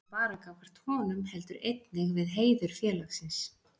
Ekki bara gagnvart honum, heldur einnig við heiður félagsins.